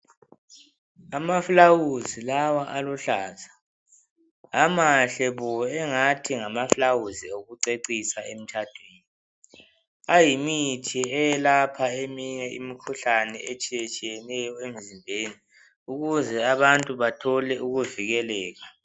Amaflawuzi lawa aluhlaza amahle bo, ingathi ngamaflawuzi okucecisa emtshadweni. Ayimithi yokwelapha eminye imikhuhlane etshiyatshiyeneyo emzimbeni ukuze abantu bathole ukuvikeleka.